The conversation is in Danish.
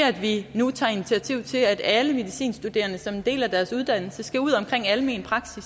at vi nu tager initiativ til at alle medicinstuderende som en del af deres uddannelse skal ud omkring almen praksis